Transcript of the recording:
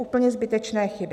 Úplně zbytečné chyby!